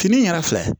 Fini in yɛrɛ filɛ